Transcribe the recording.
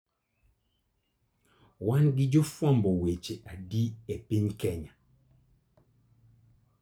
Wan gi jofwamb weche adi e piny Kenya?